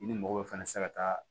I ni mɔgɔw fana tɛ se ka taa